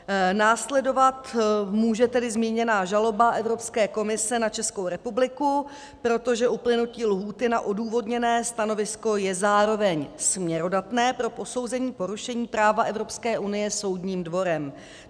Následovat může tedy zmíněná žaloba Evropské komise na Českou republiku, protože uplynutí lhůty na odůvodněné stanovisko je zároveň směrodatné pro posouzení porušení práva Evropské unie soudním dvorem.